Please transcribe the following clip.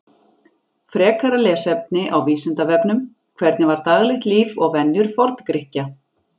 Frekara lesefni á Vísindavefnum: Hvernig var daglegt líf og venjur Forngrikkja?